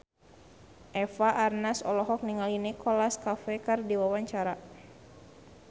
Eva Arnaz olohok ningali Nicholas Cafe keur diwawancara